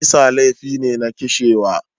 Kisa laifi ne na kishewa.